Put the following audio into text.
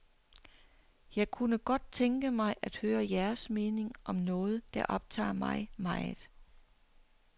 Jeg kunne godt tænke mig at høre jeres mening om noget, der optager mig meget.